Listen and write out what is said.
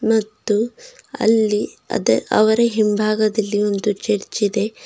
ಮತ್ತು ಅಲ್ಲಿ ಅದೆ ಅವರ ಹಿಂಭಾಗದಲ್ಲಿ ಒಂದು ಚರ್ಚ್ ಇದೆ.